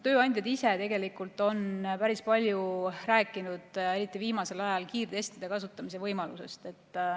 Tööandjad ise tegelikult on päris palju rääkinud, eriti viimasel ajal, kiirtestide kasutamise võimalusest.